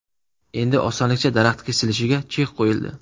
Endi osonlikcha daraxt kesilishiga chek qo‘yildi .